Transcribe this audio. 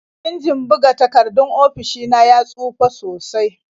Injin buga takardun ofishi na ya tsufa sosai.